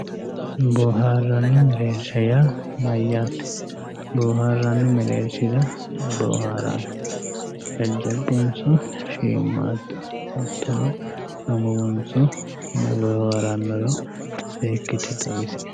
boohaarranni mereersha yaa mayyate? boohaarranni mereershira ayi boohaaranno? jajjabunso shiimmaaddu hattono amuwunso mayi boohaarannoro seekkite xawisie.